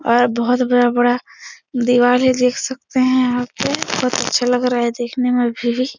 और बोहोत बड़ा-बड़ा दिवार ये देख सकते है यहाँ पे। बोहोत अच्छा लग रहा है देखने में भी।